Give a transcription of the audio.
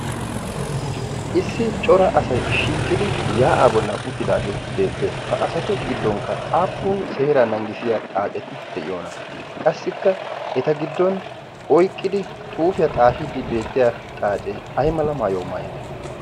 issi cora asai shiiqidi yaa'aa bollan uttidaagee beettees. ha asatu giddonkka aappun seeraa nanggisiya xaaceti de'iyoona? qassikka eta giddon oiqqidi xuufiyaa xaahiiddi beettiya xaacee ay mala maayuau maayide?